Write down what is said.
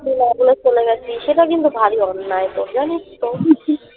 তুই না বলে চলে গেছিস সেটা কিন্তু ভারী অন্যায় তোর জানিস তো